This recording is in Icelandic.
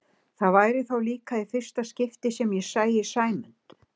Það væri þá líka í fyrsta skipti sem ég sæi Sæmund